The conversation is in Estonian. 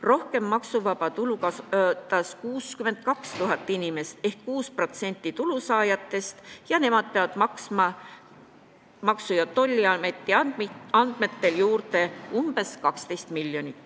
Rohkem maksuvaba tulu kasutas 62 000 inimest ehk 6% tulusaajatest ja nemad peavad Maksu- ja Tolliameti andmetel maksma juurde umbes 12 miljonit.